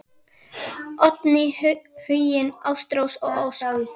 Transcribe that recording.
Oddný, Huginn, Ástrós og Ósk.